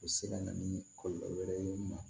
U bɛ se ka na ni kɔlɔlɔ wɛrɛ ye